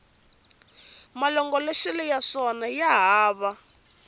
malongoloxelo ya swona ya hava